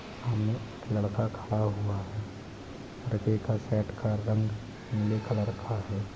सामने एक लड़का खड़ा हुआ हैं लड़के का शर्ट का रंग नीले कलर का है।